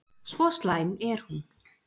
Svo slæm er hún.